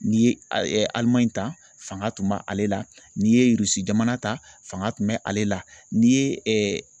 N'i ye a Alimaɲi ta fanga tun bɛ ale la n'i ye Irisi jamana ta fanga tun bɛ ale la n'i ye